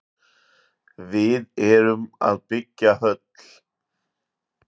Við erum að byggja höll.